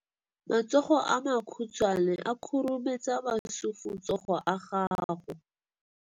Matsogo a makhutshwane a khurumetsa masufutsogo a gago.